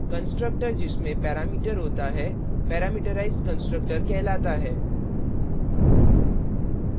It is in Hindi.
constructor जिसमें पैरामीटर होता parameterized constructor कहलाता है